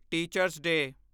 teacher's ਡੇ